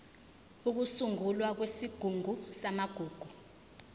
ukusungulwa kwesigungu samagugu